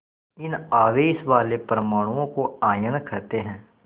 इन आवेश वाले परमाणुओं को आयन कहते हैं